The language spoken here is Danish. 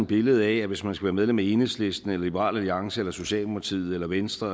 billede af at hvis man skal være medlem af enhedslisten liberal alliance socialdemokratiet eller venstre